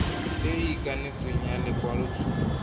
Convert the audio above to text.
e e ikanetsweng ya lekwalotshupo